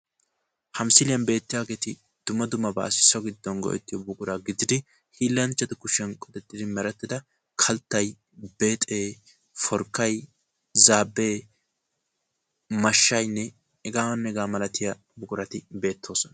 ha misiliyaan beettiyaageeti dumma dummabassi so giddon go'ettiyo buquraa gidid hiilanchchatu kushiyaan qoxxetttidi mereta kalttay, beexe, forkkay, zaabe, mashshayinne heganne hega malatiyaa buqurati beettoosona